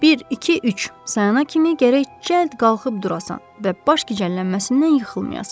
Bir, iki, üç sayana kimi gərək cəld qalxıb durasan və baş gicəllənməsindən yıxılmayasan.